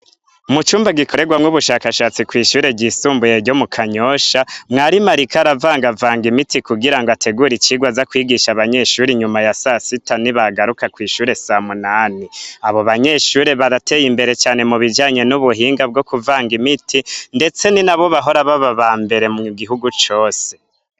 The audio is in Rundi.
Mu cumba gikorerwamwo ubushakashatsi kw'ishure ryisumbuye ryo mu Kanyosha mwarimu ariko aravangavanga imiti kugira ngo ategure icigwa aza kwigisha abanyeshure inyuma ya sasita nibagaruka kw'ishure samunani, abo banyeshure barateye imbere cane mu bijanye n'ubuhinga bwo kuvanga imiti ndetse ni nabo bahora baba abambere mu gihugu cose.